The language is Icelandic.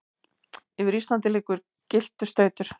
yfir Íslandi liggur gylltur stautur.